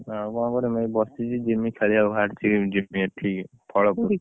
ଆଉ କଣ କରିବି ଏଇଠି ବସିଛି ଜିମି ଖେଳିବାକୁ ବାହାରିଛି ଜିମି ଏଠିକି ଫଳପୁର